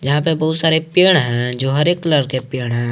यहां पे बहुत सारे पेड़ हैं जो हरे कलर के पेड़ हैं।